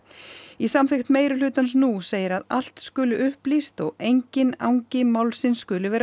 í samþykkt meirihlutans nú segir að allt skuli upplýst og enginn angi málsins skuli vera